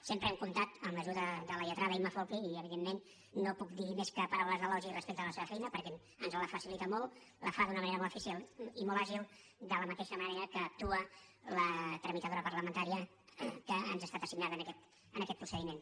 sempre hem comptat amb l’ajuda de la lletrada imma folchi i evidentment no puc dir més que paraules d’elogi respecte a la seva feina perquè ens la facilita molt la fa d’una manera molt eficient i molt àgil de la mateixa manera que actua la tramitadora parlamentària que ens ha estat assignada en aquest procediment